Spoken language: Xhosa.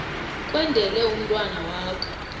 kwendele umntwana wakho